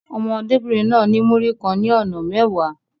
Ọmọdébìnrin náà ní Múrí kan ní ọ̀nà mẹ́wàá.